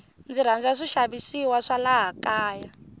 ndzi rhandza swi xavisiwa swa laha kaya